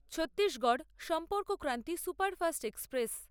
Chhattisgarh Sampark Kranti superfast express